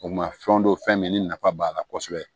O ma fɛnw don fɛn min ni nafa b'a la kosɛbɛ